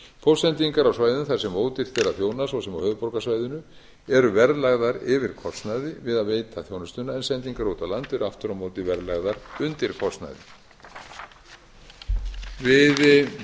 póstsendingar á svæðum þar sem ódýrt er að þjóna svo sem á höfuðborgarsvæðinu eru verðlagðar yfir kostnaði við að veita þjónustuna en sendingar út á land eru aftur á móti verðlagðar undir kostnaði við